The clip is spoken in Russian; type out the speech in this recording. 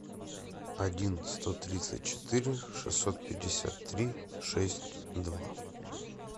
один сто тридцать четыре шестьсот пятьдесят три шесть два